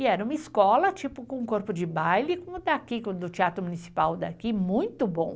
E era uma escola, tipo, com corpo de baile, do teatro municipal daqui, muito bom.